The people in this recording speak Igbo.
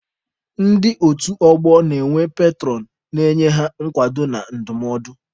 Ndị otu ọgbọ na-enwe petụrọn na-enye ha nkwado na ndụmọdụ.